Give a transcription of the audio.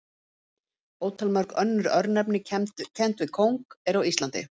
Ótalmörg önnur örnefni kennd við kóng eru á Íslandi.